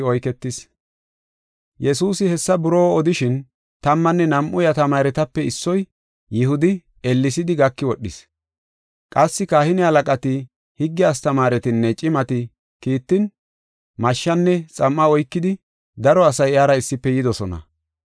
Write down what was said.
Yesuusi hessa buroo odishin, tammanne nam7u iya tamaaretape issoy, Yihudi, ellesidi gaki wodhis. Qassi kahine halaqati, higge astamaaretinne cimati kiittin, mashshanne xam7a oykida daro asay iyara issife yidosona.